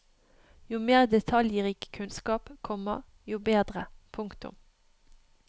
Jo mer detaljrik kunnskap, komma jo bedre. punktum